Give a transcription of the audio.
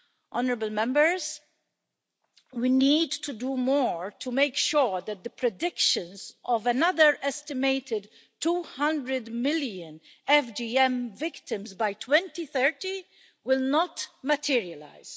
Honourable Members, we need to do more to make sure that the predictions of another estimated 200 million FGM victims by 2030 will not materialise.